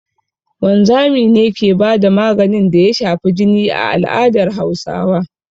Wanzami ne ke ba da maganin da ya shafi jini a al'adar Hausawa